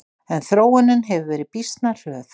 En þróunin hefur verið býsna hröð.